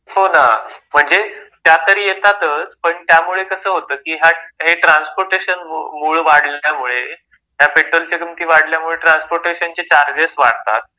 हो ना, म्हणजे त्या तर येतातच पण त्यामुळे कसं होतं कि हे ट्रान्सपोर्टेशन मूळ वाढल्यामुळे, त्या पेट्रोलच्या किमती वाढल्यामुळे ट्रान्सपोर्टेशनचे चार्जेस वाढतात.